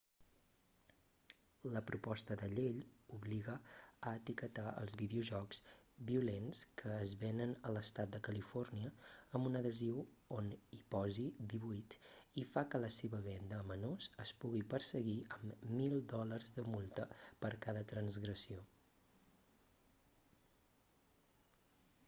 la proposta de llei obliga a etiquetar els videojocs violents que es venen a l'estat de califòrnia amb un adhesiu on hi posi 18 i fa que la seva venda a menors es pugui perseguir amb 1000 dòlars de multa per cada transgressió